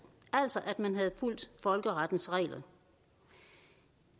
altså at man havde fulgt folkerettens regler det